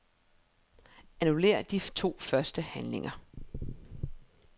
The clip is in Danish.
Annullér de to første handlinger.